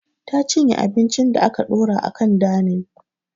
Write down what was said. Ta cinye abincin da aka ɗora a kan danin